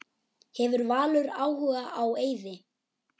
Hefur Valur áhuga á Eiði?